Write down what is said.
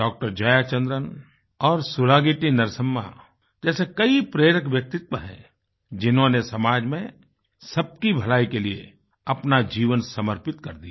डॉ जयाचंद्रन और सुलागिट्टी नरसम्मा जैसे कई प्रेरक व्यक्तित्व हैंजिन्होंने समाज में सब की भलाई के लिए अपना जीवन समर्पित कर दिया